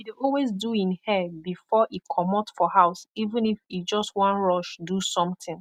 he dey always do en hair bifor e komot for house even if e jos wan rush do somtin